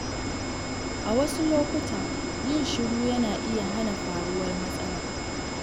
A wasu lokuta, yin shiru yana iya hana faruwar matsala